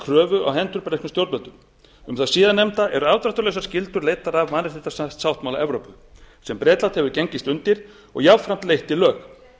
kröfu á hendur breskum stjórnvöldum um það síðarnefnda eru afdráttarlausar skyldur leiddar af mannréttindasáttmála evrópu sem bretland hefur gengist undir og jafnframt leitt í lög frysting